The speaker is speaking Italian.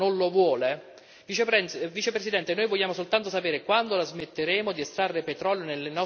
Vicepresidente, noi vogliamo soltanto sapere quando la smetteremo di estrarre petrolio nelle nostre terre e nei nostri mari.